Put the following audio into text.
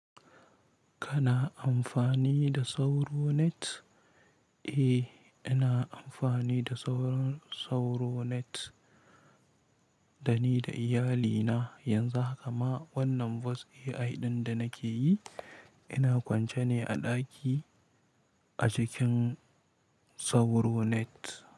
Kana amfani da sauro net? Eh, ina amfani da sauron Sauronet dani da iyalina yanzu, haka ma wannan voice AI ɗin da nake yi, ina kwance ne a ɗaki a cikin Sauronet.